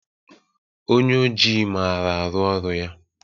Onye oji maara ọrụ ya.